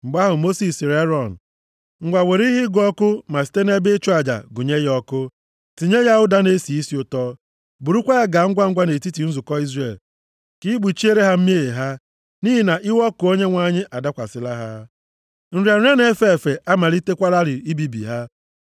Mgbe ahụ, Mosis sịrị Erọn, “Ngwa, were ihe ịgụ ọkụ ma site nʼebe ịchụ aja gụnye ya ọkụ. Tinye ya ụda na-esi isi ụtọ. Burukwa ya gaa ngwangwa nʼetiti nzukọ Izrel ka i kpuchiere ha mmehie ha, nʼihi na iwe ọkụ Onyenwe anyị adakwasịla ha. Nrịa nrịa na-efe efe amalitekwalarị ibibi ha.”